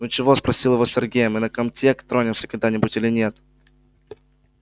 ну чего спросил его сергей мы на комтек тронемся когда-нибудь или нет